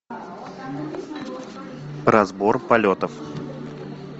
разбор полетов